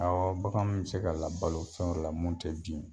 Awɔ bagan m se ka balo fɛn wɛrɛla mun te di